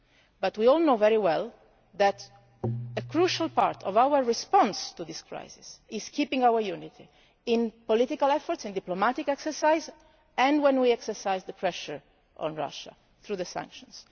it. But we all know very well that a crucial part of our response to this crisis is to keep our unity in political efforts and in diplomatic exercises, and when we exert pressure on Russia through sanctions.